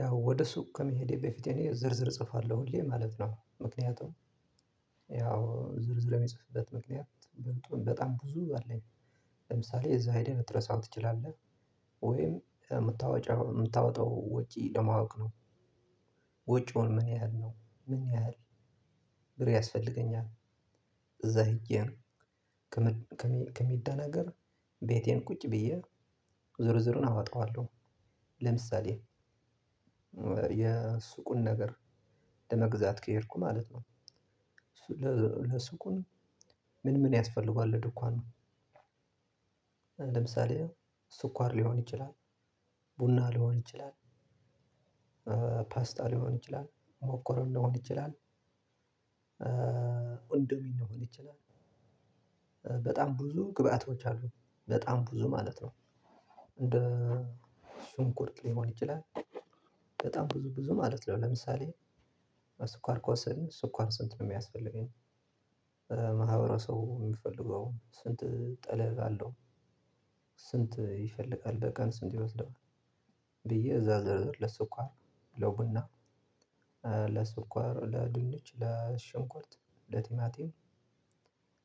ያው ወደ ሱቅ ከመሄዴ በፊቴ እኔ ዝርዝር እጽፋለሁ ሁሌ ማለት ነው። ምክንያቱም ያው ዝርዝር የሚጽፍበት ምክንያት በጣም ብዙ አለኝ። ለምሳሌ እዛ ሄደህ ልትረሳው ትችላለህ። ወይም የምታወጣው የምታወጣው ወጪ ለማወቅ ነው። ወጪውን ምን ያህል ነው? ምን ያህል ብር ያስፈልገኛል? እዛ ሄጀ ከምደናገር ቤቴ ቁጭ ብየ ዝርዝሩን አወጠዋለሁ። ለምሳሌ የሱቁን ነገር ለመግዛት ከሄድኩ ማለት ነው። ለሱቁን ምን ምን ያስፈልገዋል ለድኳኑ? ለምሳሌ ስኳር ሊሆን ይችላል፣ ቡና ሊሆን ይችላል፣ ፓስታ ሊሆን ይችላል፣ ሞኮሮኒ ሊሆን ይችላል፣ እንዶሚል ሊሆን ይችላል፣ በጣም ብዙ ግብአቶች አሉ። በጣም ብዙ ማለት ነው። እንደ ሽንኩርት፣ ሊሆን ይችላል በጣም ብዙ ብዙ ማለት ነው። ለምሳሌ ስኳር ከወሰድን ስኳር ስንት ነው የሚያስፈልገኝ? ማህበረሰቡ የሚፈልገው ስንት ጠለብ አለው? ስንት ይፈልጋል? በቀን ስንት ይወስደዋል? ብዬ እዛ ዝርዝር ለስኳር፣ ለቡና፣ ለስኳር ለድንች፣ ለሽንኩርት፣ ለቲማቲም፣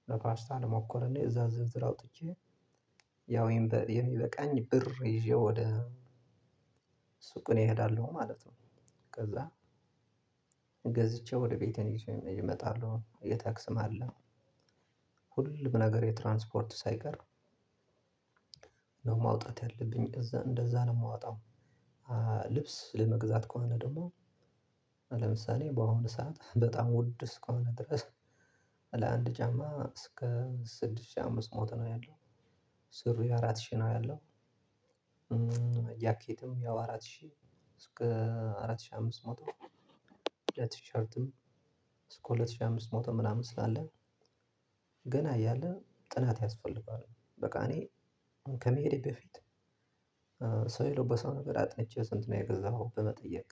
ለፓርስታ፣ ለሞኮረኔ እዛ ዝርዝር አውጥቼ ያው የሚበቃኝ ብር ይዤ ወደ ሱቅ እኔ እሄዳለሁ ማለት ነው። ከዛ ገዝቼ ወደ ቤቴን ይዠ እመጣለሁ። የታክስም አለ። ሁሉም ነገር የትራንስፖርት ሳይቀር ነው ማውጣት ያለብኝ። እዛ እንደዛ ነው የማወጣው። ልብስ ለመግዛት ከሆነ ደግሞ ለምሳሌ በአሁኑ ሰዓት በጣም ውድ እስከሆነ ድረስ ለአንድ ጫማ እስከ ስድስት ሺህ አምስት መቶ ነው ያለው። ሱሪ አራት ሺህ ነው ያለው። ጃኬትም ያው አራት ሺህ እስከ አራት ሺህ አምስት መቶ፣ ለቲሸርትም እስከ ሁለት ሺህ አምስት መቶ ምናምን ስላለ ገና እያለ ጥናት ያስፈልገዋል። በቃ እኔ ከመሄዴ በፊት ሰው የለበሰውን ነገር አጥንቸ ስንት ነው የገዛኸው? በመጠየቅ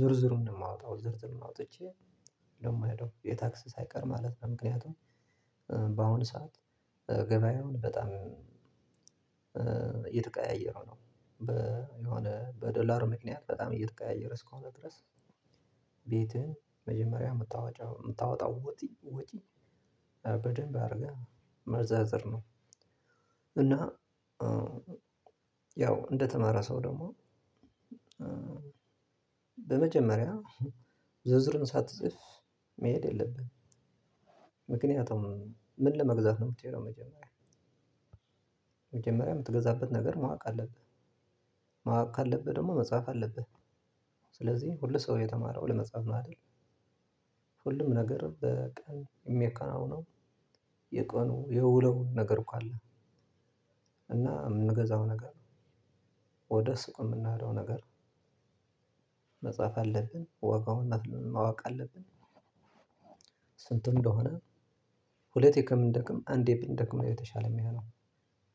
ዝርዝሩን ነው ማወጣው። ዝርዝሩን አውጥቸ ነው የምሄደው። የታክስ ሳይቀር ማለት ነው። ምክንያቱም በአሁኑ ሰዓት ገበያውን በጣም እየተቀያየረ ነው። የሆነ በዶላር ምክንያት በጣም እየተቀያየረ እስከሆነ ድረስ ቤትህን መጀመሪያ የምታወጣው ወጪ ወጪ በደንብ አድርገህ መዘርዘር ነው። እና ያው እንደተማረ ሰው ደግሞ በመጀመሪያ ዝርዝርን ሳትጽፍ መሄድ የለብህም። ምክንያቱም ምን ለመግዛት ነው የምትሄደው መጀመሪያ። መጀመሪያ የምትገዛበት ነገር ማወቅ አለብህ። ማወቅ ካለብህ ደግሞ መጻፍ አለብህ። ስለዚህ ሁሉ ሰው የተማረው ለመጻፍ ነው አይደል? ሁሉም ነገር በቀን የሚከናወነው የቀኑ የውለውን ነገር እኮ አለ። እና የምንገዛው ነገር፣ ወደ ስቁ የምናደርገው ነገር መጻፍ አለብን፣ ወጋውን ማወቅ አለብን። ስንት እንደሆነ ሁለቴ ከምንደክም አንዴ ብንደክም ነው የተሻለ የሚለው።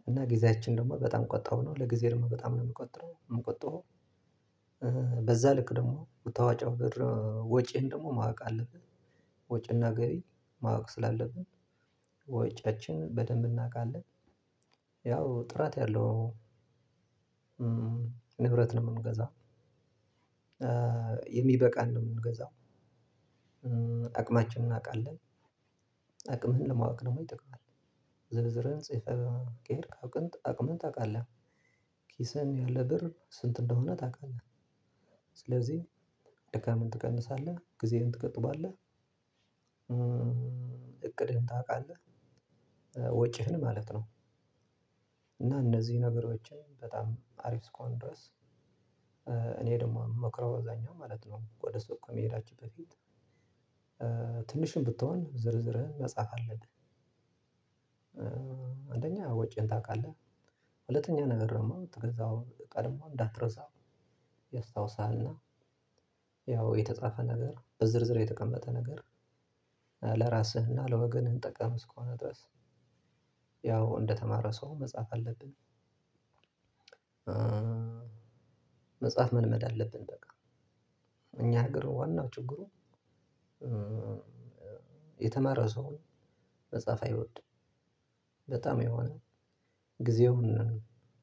እና ጊዜያችን ደግሞ በጣም ቆጣሁ ነው ለጊዜ ደግሞ በጣም ነው የምቀጥረው የምቆጥበው በዛ ልክ ደግሞ የምወጣው ብር ወጪህን ደግሞ ማወቅ አለብን። ወጪና ገቢ ማወቅ ስላለብን ወጫችን በደንብ እናውቃለን። ያው ጥራት ያለው ንብረት ነው የምንገዛው። የሚበቃን ነው የምንገዛው። አቅማችን እናውቃለን። አቅምህን ለማወቅ ደግሞ ይጠቅማል። ዝርዝርህን ጽፈህ ከሄድህ አቅምህን ታውቃለህ። ኪስህን ያለ ብር ስንት እንደሆነ ታውቃለህ። ስለዚህ ድካምን ትቀንሳለህ፣ ጊዜህን ትቆጥባለህ፣ እቅድህን ታውቃለህ። ወጪህን ማለት ነው። እና እነዚህ ነገሮችን በጣም አሪፍ እስከሆነ ድረስ እኔ ደግሞ ምመክረው አብዛኛው ማለት ነው ወደ ሱቅ ከመሄዳችን በፊት ትንሽም ብትሆን ዝርዝርህን መጻፍ አለብህ። አንደኛ ወጪህን ታውቃለህ። ሁለተኛ ነገር ደግሞ የምትገዛው እቃ ደግሞ እንዳትረሳው ያስታውሳል። እና ያው የተጻፈ ነገር በዝርዝር የተቀመጠ ነገር ለራስህና ለወገንህ ጠቃሚ እስከሆነ ድረስ ያው እንደተማረ ሰው መጻፍ አለብን። መጻፍ መልመድ አለብን። በቃ እኛ ሀገር ዋናው ችግሩ የተማረው ሰው መጻፍ አይወድም። በጣም የሆነ ጊዜውን